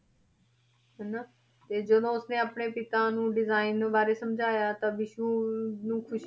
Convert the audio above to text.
ਹਨਾ ਤੇ ਜਦੋਂ ਉਸਨੇ ਆਪਣੇ ਪਿਤਾ ਨੂੰ design ਬਾਰੇ ਸਮਝਾਇਆ ਤਾਂ ਬਿਸੂ ਨੂੰ ਖ਼ੁਸ਼ੀ